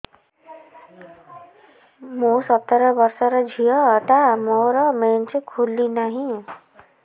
ମୁ ସତର ବର୍ଷର ଝିଅ ଟା ମୋର ମେନ୍ସେସ ଖୁଲି ନାହିଁ